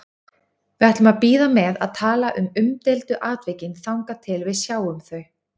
Við ætlum að bíða með að tala um umdeildu atvikin þangað til við sjáum þau.